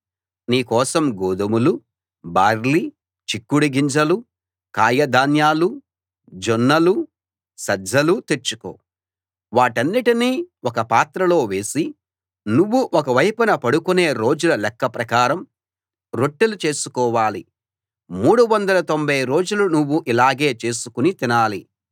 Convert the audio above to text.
నీ కోసం గోధుమలూ బార్లీ చిక్కుడు గింజలూ కాయ ధాన్యాలూ జొన్నలూ సజ్జలూ తెచ్చుకో వాటన్నిటినీ ఒక పాత్రలో వేసి నువ్వు ఒక వైపున పడుకునే రోజుల లెక్క ప్రకారం రొట్టెలు చేసుకోవాలి 390 రోజులు నువ్వు ఇలాగే చేసుకుని తినాలి